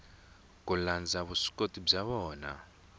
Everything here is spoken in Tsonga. ku landza vuswikoti bya vona